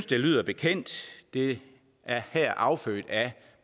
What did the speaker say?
det lyder bekendt det er affødt af